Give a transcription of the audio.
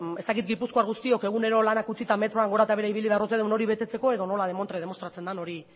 ez dakit gipuzkoar guztiok egunero lanak utzita metroa gora eta behera ibili behar ote dugun hori betetzeko edo nola demontre demostratzen den hori